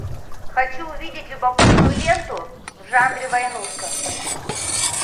хочу увидеть любопытную ленту в жанре войнушка